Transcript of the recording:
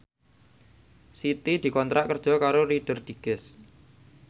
Siti dikontrak kerja karo Reader Digest